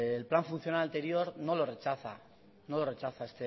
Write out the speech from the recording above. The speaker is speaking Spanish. el plan funcional anterior no lo rechaza no lo rechaza